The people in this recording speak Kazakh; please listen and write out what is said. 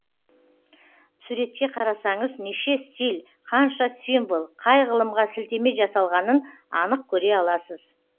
суретке қарасаңыз неше стиль қанша символ қай ғылымға сілтеме жасалғанын анық көре аласыз